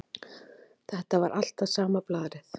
Þetta var alltaf sama blaðrið.